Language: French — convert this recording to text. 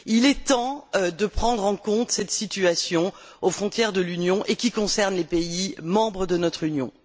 Il est temps de prendre en compte cette situation aux frontières de l'Union, et qui concerne les pays membres de notre Union.